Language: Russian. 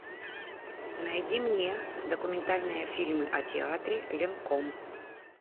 найди мне документальные фильмы о театре ленком